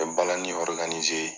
N mi balani